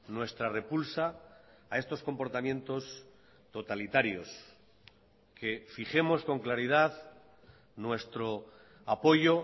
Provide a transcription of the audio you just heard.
nuestra repulsa a estos comportamientos totalitarios que fijemos con claridad nuestro apoyo